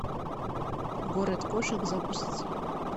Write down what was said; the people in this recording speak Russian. город кошек запусти